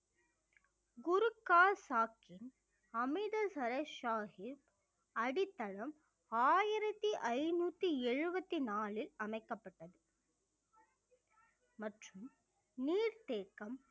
குறுக்கால் சாஹிப் அமிர்தசரஸ் சாஹிப் அடித்தளம் ஆயிரத்தி ஐந்நூத்தி எழுபத்தி நாளில் அமைக்கப்பட்டது மற்றும் நீர்த்தேக்கம்